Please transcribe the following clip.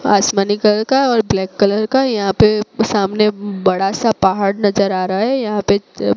आसमानी कलर का और ब्लैक कलर का यहां पे सामने बड़ा सा पहाड़ नजर आ रहा है। यहां पे अ--